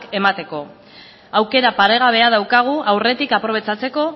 emateko aukera paregabea daukagu aurretik aprobetxatzeko